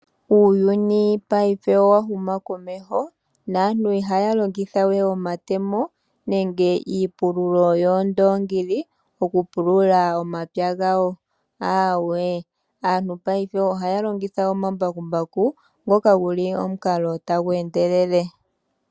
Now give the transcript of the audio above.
Uuyuni paife owa huma komeho, naantu ihaya longitha wee omatemo nenge iipululo yoondongili oku pulula omapya gawo, aawe, aantu paife ohaya longitha omambakumbaku, ngoka guli omukalo tagu endelele.